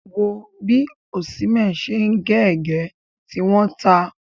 Wò ó bí Osimhen ṣe ń gé ègé, tí wọ́n ta!